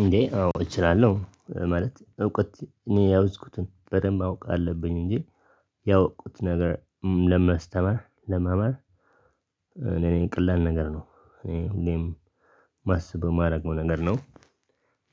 እንዴ አዎ እችላለሁ። ማለት እውቀት እኔ የያዝኩትን በደንብ ማወቅ አለብኝ እንጂ ያወቅኩት ነገር ለማስተማር ለመማር ለኔ ቀላል ነገር ነው። እኔ ሁሌም ማስበው ማደርገው ነገር ነው።